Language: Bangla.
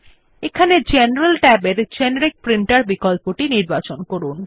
এখানে জেনারেল ট্যাবের জেনেরিক প্রিন্টের বিকল্পটি নির্বাচন করুন